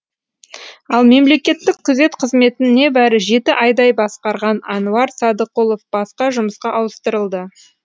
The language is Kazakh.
ал мемлекеттік күзет қызметін небәрі жеті айдай басқарған әнуар садықұлов басқа жұмысқа ауыстырылды